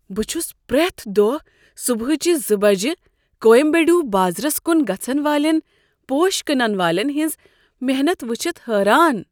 بہٕ چھس پرٛیتھ دۄہ صبحٲچہ زٕ بجہ کویمبیڈو بازرس کن گژھن والین پوش کٕنن والین ہنٛز محنت وٕچھتھ حیران